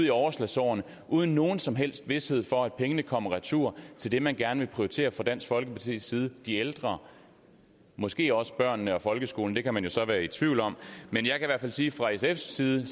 i overslagsårene uden nogen som helst vished for at pengene kommer retur til det man gerne vil prioritere fra dansk folkepartis side de ældre måske også børnene og folkeskolen det kan man jo så være i tvivl om men jeg kan sige at fra sfs side